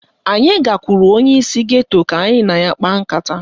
Anyị gakwuru onyeisi geto ka anyị na ya kpaa nkata